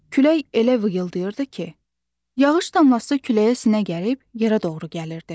Külək elə vıyıldayırdı ki, yağış damlası küləyə sinə gərib yerə doğru gəlirdi.